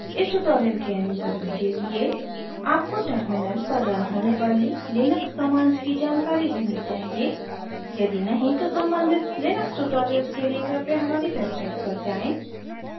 इस tutorial के अनुसरण के लिए: